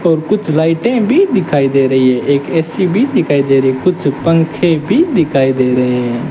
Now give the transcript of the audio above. और कुछ लाइटें भी दिखाई दे रही है एक ए_सी भी दिखाई दे रही कुछ पंखे भी दिखाई दे रहे हैं।